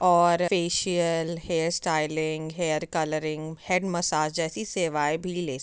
और facial hair styling hair colouring head massage जैसी सेवाए भी ले --